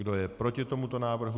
Kdo je proti tomuto návrhu?